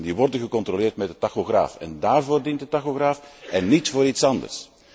Die worden gecontroleerd met de tachograaf en daarvoor dient de tachograaf, niet voor iets anders.